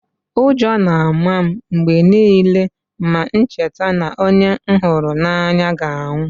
Ụjọ na-ama m mgbe niile ma m cheta na onye m hụrụ n’anya ga-anwụ